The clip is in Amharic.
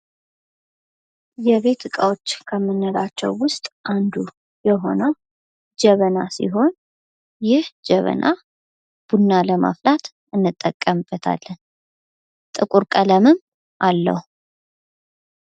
የቤት ዕቃዎች ከምንላቸው ውስጥ አንዱ የሆነው ጀበና ሲሆን ይህ ጀበና ቡና ለማፍላት እንጠቀምበታለን። ጥቁር ቀለምም አለው።